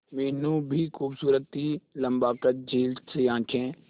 मीनू भी खूबसूरत थी लम्बा कद झील सी आंखें